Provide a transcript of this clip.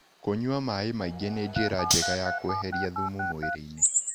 Kũnyua mae maĩngĩ nĩ njĩra njega ya ya kweherĩa thũmũ mwĩrĩĩnĩ